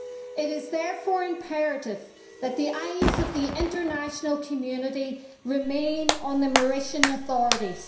It is therefore imperative that the eyes of the international community remain on the Mauritian authorities.